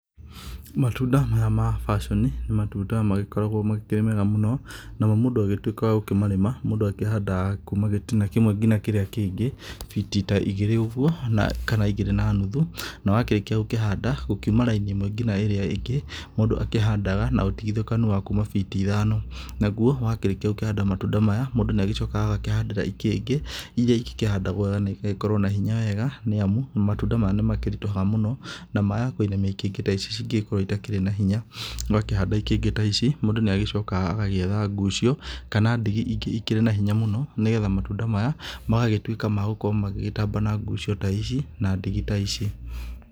Matunda maya ma bacioni, nĩ matunda magĩkoragwo makĩrĩ mega mũno, namo mũndũ agĩtuĩka wa gũkĩmarĩma mũndũ akĩhandaga kuma gĩtina kĩmwe ngina kĩrĩa kĩngĩ biti ta igĩrĩ ũguo kana igĩrĩ na nuthu. Na wakĩrĩkia gũkĩhanda gũkiuma raini ĩmwe ngina ĩrĩa ĩngĩ, mũndũ akĩhandaga na ũtigithũkanu wa kuma biti ithano . Naguo wakĩrĩkia gũkĩhanda matunda maya mũndũ nĩ agĩcokaga agakĩhandĩra ikĩngĩ. iria igĩkĩhandagwo wega na igagĩkorwo na hinya wega nĩ amu matunda maya nĩ makĩritũhaga mũno na maya kũinamia ikĩngĩ ici cingĩgĩkorwo itakĩrĩ na hinya. Wakĩhanda itingĩ ta ici mũndũ nĩ agĩcokaga agagĩetha ngucio kana ndigi ikĩrĩ na hinya mũno, nĩ getha matunda maya magagĩtuĩka ma gũkorwo magĩgĩtamba na ngucio ta icio na ndigi ta ici.